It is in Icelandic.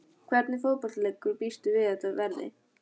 Hvernig fótboltaleikur býstu við að þetta verði?